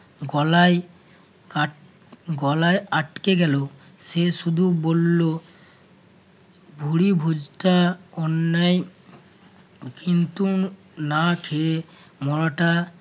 গলায় গলায় আটকে গেল সে শুধু বলল, ভুড়ি ভোজটা অন্যায় কিন্তু না খেয়ে মরাটা